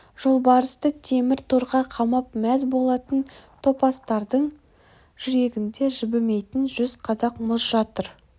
жолбарысты темір торға қамап мәз болатын топастардың жүрегінде жібімейтін жүз қадақ мұз жатыр